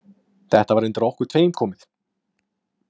Þetta var undir okkur tveim komið.